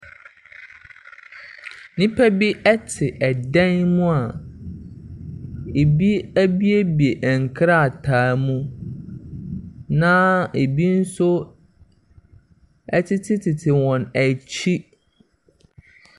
Nnipa bi te dan mu a ebi abuebue nkrataa mu, na ebi nso tetetete wɔn akyi.